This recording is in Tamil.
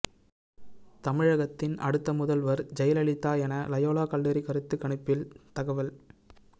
தமிழகத்தின் அடுத்த முதல்வர் ஜெயலலிதா என லயோலா கல்லூரி கருத்துக் கணிப்பில் தகவல்